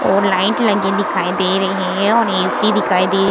और लाइट लगी दिखाई दे रही हैं और ए.सी. दिखाई दे --